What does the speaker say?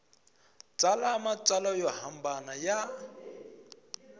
tsala matsalwa yo hambana ya